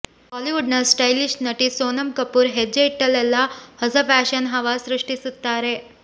ಬಾಲಿವುಡ್ನ ಸ್ಟೈಲಿಶ್ ನಟಿ ಸೋನಂ ಕಪೂರ್ ಹೆಜ್ಜೆ ಇಟ್ಟಲೆಲ್ಲ ಹೊಸ ಫ್ಯಾಷನ್ ಹವಾ ಸೃಷ್ಟಿಸುತ್ತಾರೆ